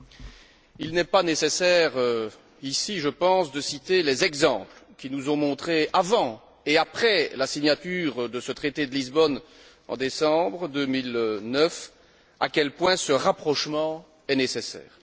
Je pense qu'il n'est pas nécessaire ici de citer les exemples qui nous ont montré avant et après la signature de ce traité de Lisbonne en décembre 2009, à quel point ce rapprochement est nécessaire.